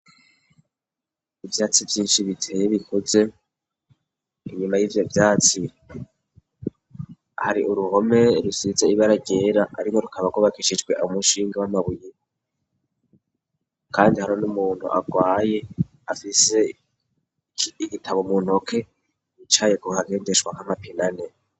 Ivyatsi vyinshi biteye bikuze, inyuma y'ivyo vyatsi hari uruhome rusize ibara ryera ariko rukaba rwubakishijwe amushinga w'amabuye, kandi hariho n'umuntu agwaye afise igitabo mu ntoke bicaye guhagendeshwa nk'amapine ane.